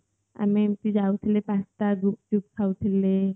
ଆମେ ଏମିତି ଯାଉଥିଲେ pasta ଗୁପ୍ଚୁପ୍ ଖାଉଥିଲେ